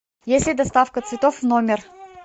есть ли доставка цветов в номер